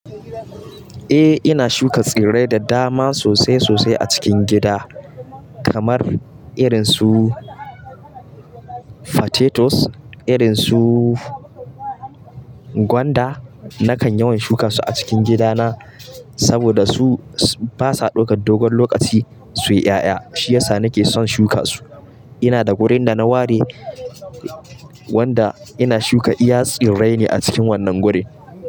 Eh, ina shuka tsirrai da dama sosai sosai a cikin gida, kamar irin su potatoes, irin su gwanda. Nakan yawan shuka su a cikin gidana, saboda su basa ɗaukar dogon lokaci su yi 'ƴa'ƴa, shiyasa nake son shuka su. Ina da wurin da na ware wanda ina shuka iya tsirrai ne a cikin wannan wurin.